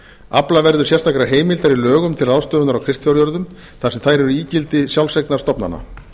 afla verður sérstakrar heimildar í lögum til ráðstöfunar á kristfjárjörðum þar sem þær eru ígildi sjálfseignarstofnana